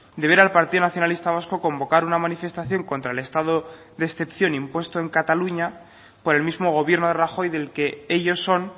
de ver al partido nacionalista vasco convocar una manifestación contra el estado de excepción impuesto en cataluña por el mismo gobierno de rajoy del que ellos son